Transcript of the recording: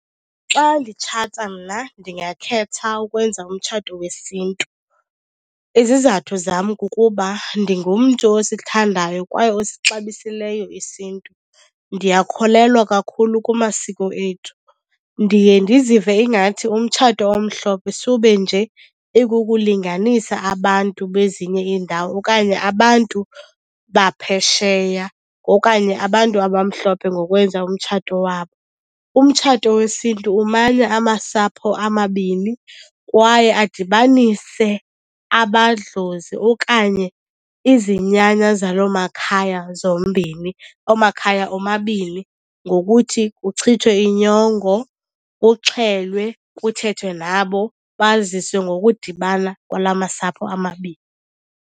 Xa nditshata mna ndingakhetha ukwenza umtshato wesiNtu. Izizathu zam kukuba ndingumntu osithandayo kwaye osixabisileyo isiNtu, ndiyakholelwa kakhulu kumasiko ethu. Ndiye ndizive ingathi umtshato omhlophe sube nje ikukulinganisa abantu bezinye iindawo okanye abantu baphesheya okanye abantu abamhlophe ngokwenza umtshato wabo. Umtshato wesiNtu umanya amasapho amabini kwaye adibanise amadlozi okanye izinyanya zaloo makhaya zombini, oomakhaya omabini, ngokuthi kuchithwe inyongo, kuxhelwe, kuthethwe nabo baziswe ngokudibana kwala masapho amabini.